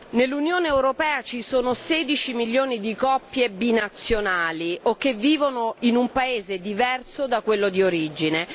nell'Unione europea ci sono 16 milioni di coppie binazionali o che vivono in un paese diverso da quello di origine.